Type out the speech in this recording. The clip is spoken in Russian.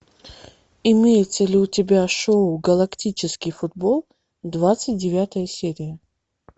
имеется ли у тебя шоу галактический футбол двадцать девятая серия